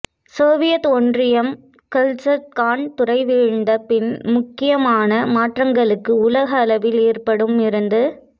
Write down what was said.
Soviet ஒன்றியம் மற்றும் Kazakhstan துறை வீழ்ந்த பின் முக்கியமான மாற்றங்களுக்கு உலக அளவில் ஏற்படும் இருந்தது